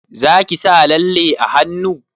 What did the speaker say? Zaki sa lalle a hannu?